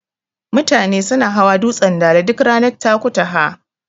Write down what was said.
Mutane suna hawa dutsen Dala duk ranar Takutaha.